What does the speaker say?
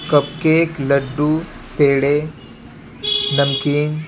cup cake लड्डू पेड़े नमकीन--